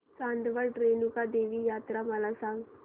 चांदवड रेणुका देवी यात्रा मला सांग